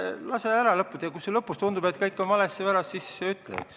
Lase mul ära lõpetada ja kui sulle lõpus tundub, et kõik on valesti, siis ütle.